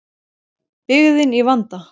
Byggðin í vanda.